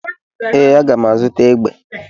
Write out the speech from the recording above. Ee, a ga m azụta egbe.